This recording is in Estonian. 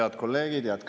Head kolleegid!